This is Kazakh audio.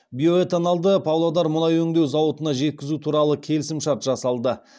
биоэтанолды павлодар мұнай өңдеу зауытына жеткізу туралы келісімшарт жасалды